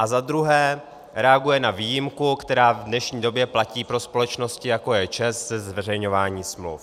A za druhé reaguje na výjimku, která v dnešní době platí pro společnosti, jako je ČEZ, se zveřejňováním smluv.